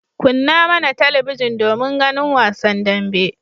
Kunna mana talabijin domin ganin wasan dambe.